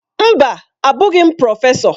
Mba! Abụghị m prọfesọ.